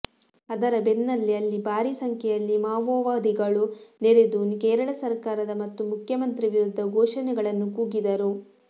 ಅದರ ಬೆನ್ನಲ್ಲೇ ಅಲ್ಲಿ ಭಾರೀ ಸಂಖ್ಯೆಯಲ್ಲಿ ಮಾವೋವಾ ದಿಗಳು ನೆರೆದು ಕೇರಳ ಸರಕಾರದ ಮತ್ತು ಮುಖ್ಯಮಂತ್ರಿ ವಿರುದ್ಧ ಘೋಷಣೆಗಳನ್ನು ಕೂಗಿದರು